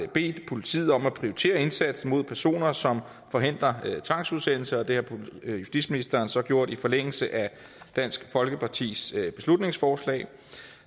bedt politiet om at prioritere indsatsen mod personer som forhindrer tvangsudsendelser og det har justitsministeren så gjort i forlængelse af dansk folkepartis beslutningsforslag